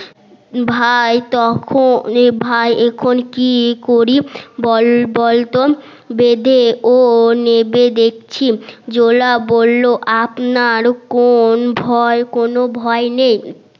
ভাই তখন এ ভাই এখন কি করি বলতো বেধে অ নেবে দেখছি জোলা বললো আপনার কোন ভয় কোন ভয় নেই